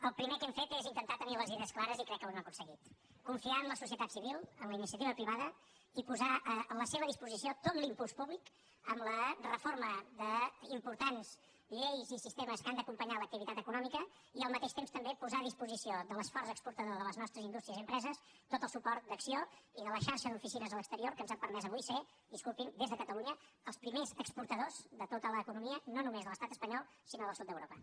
el primer que hem fet és intentar tenir les idees clares i crec que ho hem aconseguit confiar en la societat civil en la iniciativa privada i posar a la seva disposició tot l’impuls públic amb la reforma d’importants lleis i sistemes que han d’acompanyar l’activitat econòmica i al mateix temps també posar a disposició de l’esforç exportador de les nostres indústries i empreses tot el suport d’acció i de la xarxa d’oficines a l’exterior que ens han permès avui ser disculpin des de catalunya els primers exportadors de tota l’economia no només de l’estat espanyol sinó del sud d’europa